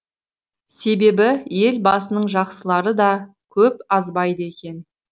себебі ел басының жақсылары да көп азбайды екен